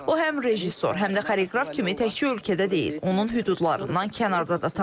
O həm rejissor, həm də xoreoqraf kimi təkcə ölkədə deyil, onun hüdudlarından kənarda da tanınır.